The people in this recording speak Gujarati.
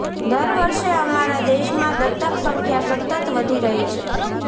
દર વર્ષે અમારા દેશ માં દત્તક સંખ્યા સતત વધી રહી છે